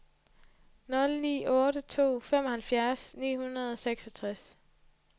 nul ni otte to femoghalvfjerds ni hundrede og seksogtres